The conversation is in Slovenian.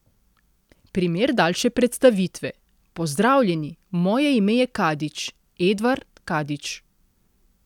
Primer daljše predstavitve: 'Pozdravljeni, moje ime je Kadič, Edvard Kadič.